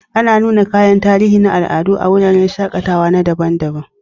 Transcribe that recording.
Ana nuna kayan tarihi na al'adu a wuraren shaƙatawa na al'adu.